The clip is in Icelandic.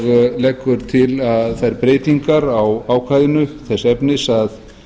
og leggur til þær breytingar á ákvæðinu þess efnis að